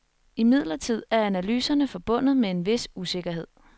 Imidlertid er analyserne forbundet med en vis usikkerhed.